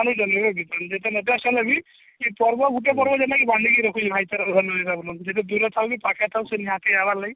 ହେଲେବି ଇ ପର୍ବ ଗୁଟେ ପର୍ବ ଯୋଉଟା କି ବାନ୍ଧିକି ରଖୁଛି ଭାଇଚାରା ସେ ଦୂରରେ ଥାଉ କି ପାଖରେ ଥାଉ କି ଲାଗି